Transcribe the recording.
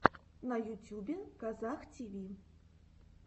на ютюбе казах тиви